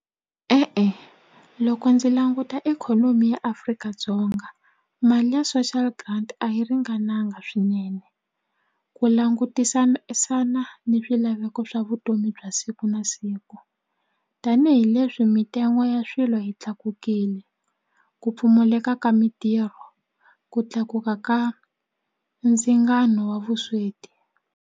E-e loko ndzi languta ikhonomi ya Afrika-Dzonga mali ya social grant a yi ringananga swinene ku langutisa ni swilaveko swa vutomi bya siku na siku tanihileswi mintsengo ya swilo yi tlakukile ku pfumaleka ka mintirho ku tlakuka ka ndzingano wa vusweti.